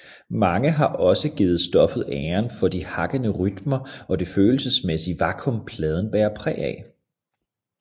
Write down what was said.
Mange har også givet stoffet æren for de hakkende rytmer og det følelsesmæssige vakuum pladen bærer præg af